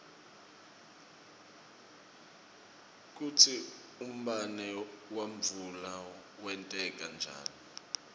kutsi umbane wemvula wenteka njani